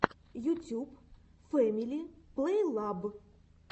ютюб фэмили плейлаб